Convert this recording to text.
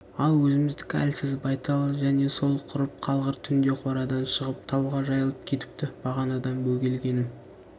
ал өзіміздікі әлсіз байтал және сол құрып қалғыр түнде қорадан шығып тауға жайылып кетіпті бағанадан бөгелгенім